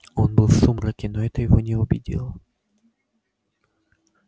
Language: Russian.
он был в сумраке но это его не убедило